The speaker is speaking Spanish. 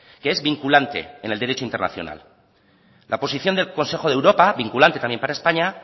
que es vinculante en el derecho internacional la posición del consejo de europa vinculante también para españa